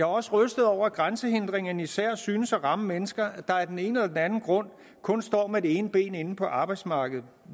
også rystet over at grænsehindringerne især synes at ramme mennesker der af den ene eller den anden grund kun står med det ene ben inde på arbejdsmarkedet